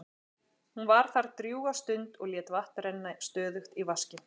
Hún var þar drjúga stund og lét vatn renna stöðugt í vaskinn.